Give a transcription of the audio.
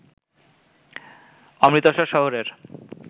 অমৃতসর শহরের